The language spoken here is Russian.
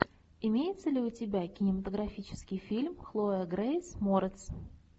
имеется ли у тебя кинематографический фильм хлоя грейс морец